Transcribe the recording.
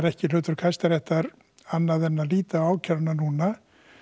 ekki hlutverk Hæstaréttar annað en að líta á ákæruna núna